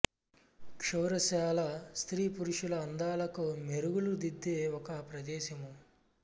క్షౌరశాల స్త్రీ పురుషుల అందాలకు మెరుగులు దిద్దే ఒక ప్రదేశము